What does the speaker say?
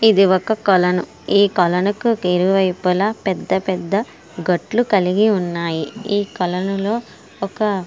ఇది ఒక కొలను. ఈ కొలనుకు ఇరువైపులా పెద్ద పెద్ద గట్లు కలిగి ఉన్నాయి. ఈ కొలనులో ఒక --